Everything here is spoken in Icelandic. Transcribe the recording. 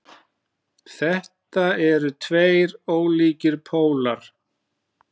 Þetta eru tveir ólíkir pólar.